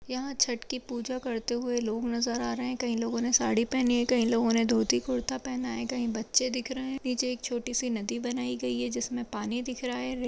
यहाँ छट की पूजा करते हुए लोग नजर आ रहे हैं। कई लोगों ने साड़ी पहनी है कई लोगों ने धोती-कुर्ता पहना है कहीं बच्चे दिख रहे हैं। नीचे एक छोटी-सी नदी बनाई गयी है जिसमें पानी दिख रहा है। रेल --